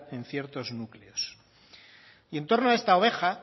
en ciertos núcleos y en torno a esta oveja